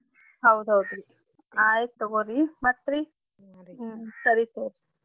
ಹೌದೌದ್ರಿ ಆಯ್ತ್ ತಗೋರೀ ಮತ್ರೀ? ಹ್ಮ್ ಸರಿ ತಗೋರಿ.